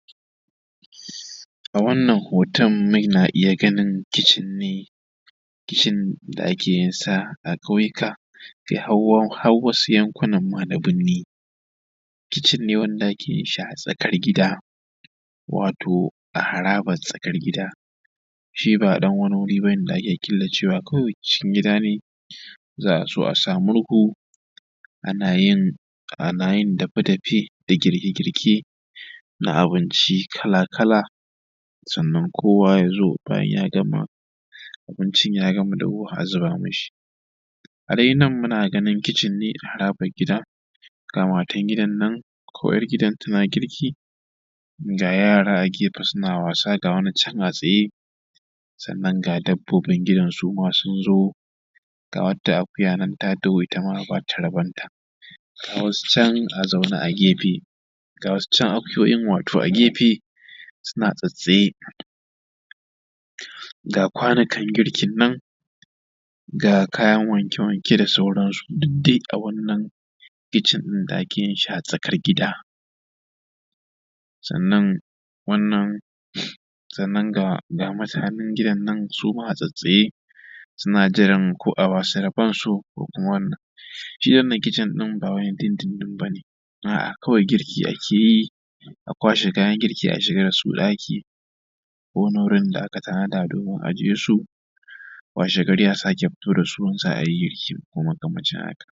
A wannan hoton muna iya ganin kitchen ne, kitchen da ake yin sa a ƙauyuka kai har har wasu yankunan ma da birni. Kitchen ne wanda ake yin shi a tsakar gida, wato a harabar tsakar gida. Shi ba ɗan wani wuri ba ne da ake killacewa, kawai cikin gida ne za a zo a sa murhu ana yin dape-dape da girke-girke na abinci kala-kala. Sannan kowa ya zo bayan ya gama abincin ya gama dahuwa a zuba mashi. A dai nan muna ganin kitchen ne a harabar gida, ga matar gidan nan, ko ‘yar gidan tana girki, ga yara a gefe suna wasa, ga wani can a tsaye, sannan ga dabbobin gidan su ma sun zo, ga wata akuya nan ta taho ita ma a ba ta rabonta, ga wasu can a zaune a gefe, ga wasu can akuyoyin wato a gefe suna tsattsaye, ga kwanukan girkin nan, ga kayan wanke-wanke da sauransu, duk dai a wannan kitchen ɗin da ake yin shi a tsakar gida. Sannan wannan sannan ga ga mutanen gidan nan su na tsattsaye, suna jiran ko a ba su rabonsu ko kuma wannan. Shi wannan kitchen ɗin ba na dun dun dun ba ne, a’a, kawai girki ake yi, a kwashe kayan girki a shiga da su ɗaki, wani wurin da aka tanada domin ajiye su, washegari a sake fito da su in za a yi girkin ko mkamanci haka.